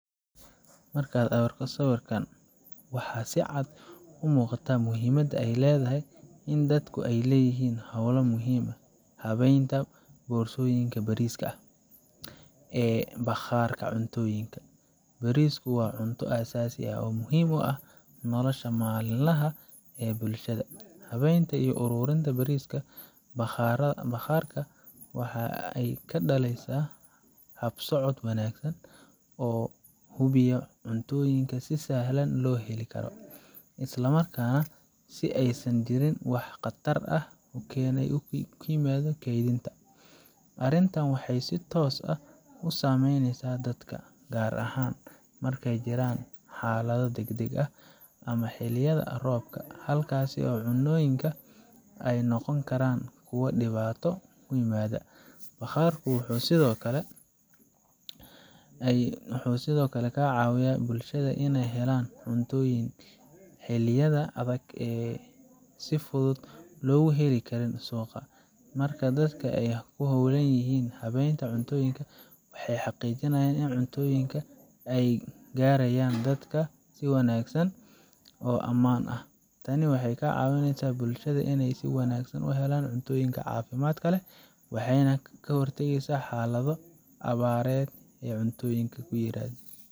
Markan arko sawirkan waxaa si caad u muqaata muhiimaada ee ledahay in dadku ee leyihin hola muhiim ah, hawenta borsoyinka bariska ah ee baqarka cuntoyinka, bariska waa cunto asasi ah oo muhiim u ah nololsha malin laha ee bulshaada, hawenta iyo arurinta bariska baqaraha wexee kadaleysa habsocod wanagsan oo hubiyo cuntoyinka si sahlan lo heli karo, isla marka si ee u kenin wax diib ah kedintaa, arintan wexee si sax ah u mareyneysa dadka gar ahan marki ee jiran xaladho dag dag ah, ama xiliyadha robka oo cunoyinka ee noqoni karan kuwa diwato ku imadha, baqarka wuxuu sithokale ka cawiyaa bulshadha in ee helan cuntoyin xiliyadha adhag ee si fudud loga heli karin suqa, marka ee dadka ku holan yihin hawenta wexee xaqijinayan in cuntoyinka ee garayan dadka si wanagsan oo aman ah, tani wexee ka cawineysa bulshoyinka in ee si wanagsan u helan cunto cafimaad kale wexena ka hortageysa xaladho awarded ee cuntoyinka ku imadho.